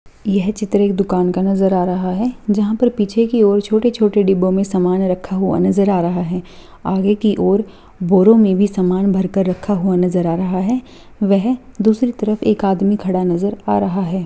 यह चित्र एक दुकान का नजर आ रहा है जहाँ पर पीछे की और छोटे-छोटे डिब्बों में सामान रखा हुआ नजर आ रहा है आगे की और बोरों में भी सामान भर कर रखा हुआ नजर आ रहा है वह दूसरी तरफ एक आदमी खड़ा हुआ नजर आ रहा है।